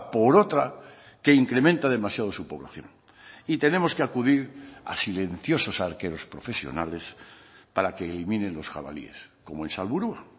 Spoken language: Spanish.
por otra que incrementa demasiado su población y tenemos que acudir a silenciosos arqueros profesionales para que eliminen los jabalíes como en salburua